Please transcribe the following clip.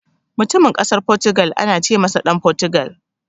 Mutumin Ƙasar Fotugal ana ce masa Ɗan Fotugal.